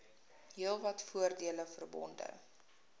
heelwat voordele verbonde